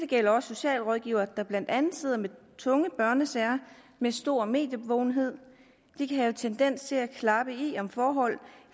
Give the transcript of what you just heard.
gælder socialrådgivere der blandt andet sidder med tunge børnesager med stor mediebevågenhed de kan have tendens til at klappe i om forhold